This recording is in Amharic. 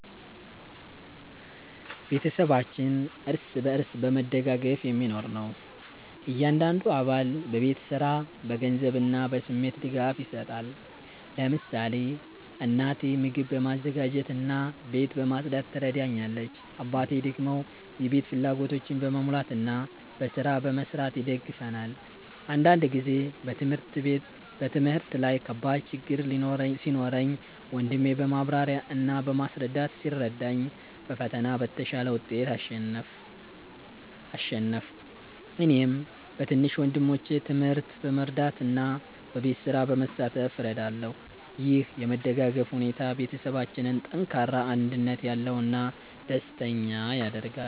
ቤተሰባችን እርስ በርስ በመደጋገፍ የሚኖር ነው። እያንዳንዱ አባል በቤት ስራ፣ በገንዘብ እና በስሜት ድጋፍ ይሰጣል። ለምሳሌ እናቴ ምግብ በማዘጋጀት እና ቤት በማጽዳት ትረዳኛለች፣ አባቴ ደግሞ የቤት ፍላጎቶችን በመሙላት እና በስራ በመስራት ይደግፈናል። አንድ ጊዜ በትምህርት ላይ ከባድ ችግኝ ሲኖረኝ ወንድሜ በማብራሪያ እና በማስረዳት ሲረዳኝ በፈተና በተሻለ ውጤት አሸነፍሁ። እኔም በትንሽ ወንድሞቼ ትምህርት በመርዳት እና በቤት ስራ በመሳተፍ እረዳለሁ። ይህ የመደጋገፍ ሁኔታ ቤተሰባችንን ጠንካራ፣ አንድነት ያለው እና ደስተኛ ያደርጋል።